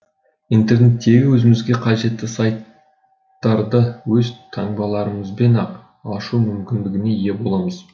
интернеттегі өзімізге қажетті сайттарды өз таңбаларымызбен ақ ашу мүмкіндігіне ие боламыз